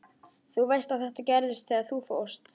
Þú veist að þetta gerðist þegar þú fórst.